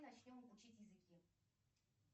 начнем учить языки